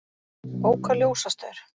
Ók á ljósastaur